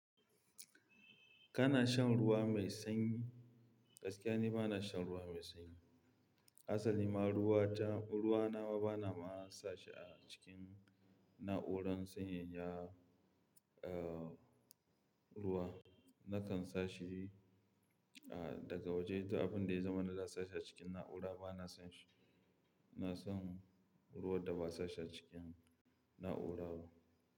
Kana shan ruwa mai sanyi? Gaskiya ni ba na shan ruwa mai sanyi. Asali ma ruwa ta, ruwa na ma bana ma sa shi a cikin na'urar sanyaya, eh, ruwa. Nakan sa shi, ah, daga waje. To abin da ya zama na za a sa shi a cikin na'ura bana son shi. Na san ruwan da ba a sa shi a cikin na'ura ba.